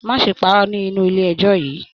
Má ṣe pàrọ́ nínú ilé ẹjọ yìí!